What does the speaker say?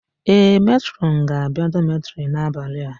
Ee, Metrọn ga-abia dọmetịrị n'abalị a.